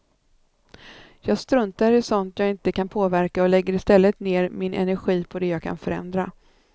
Jag struntar i sådant jag inte kan påverka och lägger istället ner min energi på det jag kan förändra.